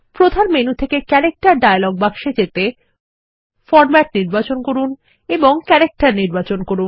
প্রধান মেনু থেকে character dialog বাক্সে যেতে ফরমেট নির্বাচন করুন এবং ক্যারেক্টার নির্বাচন করুন